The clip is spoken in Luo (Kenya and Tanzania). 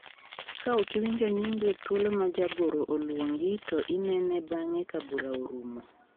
Ka ok iwinjo nyingi e thuolo ma jagoro oluongi to inene bang'e ka bura orumo.